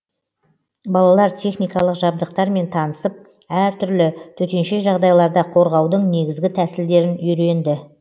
балалар техникалық жабдықтармен танысып әртүрлі төтенше жағдайларда қорғаудың негізгі тәсілдерін үйренді